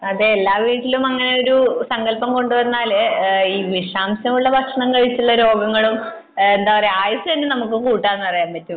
അതെ എല്ലാവീട്ടിലും അങ്ങനെ ഒരു സങ്കൽപം കൊണ്ടുവന്നാൽ ഒരു ഈ വിഷാംശം ഉള്ള ഭക്ഷണം കഴിച്ചുള്ള രോഗങ്ങളും എന്താ പറയാ ആയുസ്സ് തന്നെ നമുക്ക് കൂട്ടാൻ പറ്റും